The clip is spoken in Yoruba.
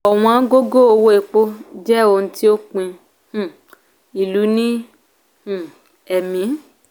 ọ̀wọ́n gógó owó epo jẹ òun ti o pín um ilu ní um ẹ́mì.